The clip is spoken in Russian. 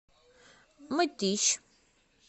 мытищ